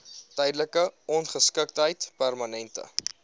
tydelike ongeskiktheid permanente